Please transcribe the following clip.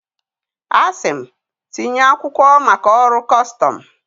A sị m, tinye akwụkwọ maka ọrụ custọmụ.